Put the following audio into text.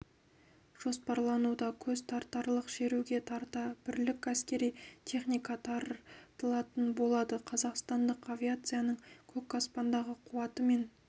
жоспарлануда көзтартарлық шеруге тарта бірлік әскери техника тартылатын болады қазақстандық авиацияның көк аспандағы қуаты мен